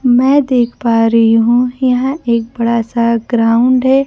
मैं देख पा रही हूं यह एक बड़ा सा ग्राउंड है।